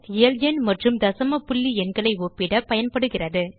இயல்எண் மற்றும் தசம புள்ளி எண்களை ஒப்பிட பயன்படுகிறது